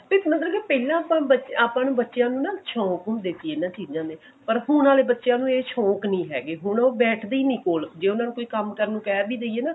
ਤੇ ਮਤਲਬ ਕਿ ਪਹਿਲਾਂ ਤਾਂ ਆਪਾਂ ਨੂੰ ਬੱਚਿਆ ਨੂੰ ਤਾਂ ਸ਼ੋਂਕ ਹੁੰਦੇ ਸੀ ਇਹਨਾਂ ਚੀਜਾਂ ਦੇ ਪਰ ਹੁਣ ਆਲੇ ਬੱਚਿਆ ਨੂੰ ਉਹ ਸ਼ੋਂਕ ਨਹੀਂ ਹੈਗੇ ਹੁਣ ਬੈਠਦੇ ਹੀ ਨਹੀਂ ਕੋਲ ਜੇ ਉਹਨਾਂ ਨੂੰ ਕੋਈ ਕੰਮ ਨੂੰ ਕਹਿ ਵੀ ਦਈਏ ਨਾ